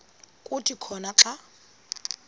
kuthi khona xa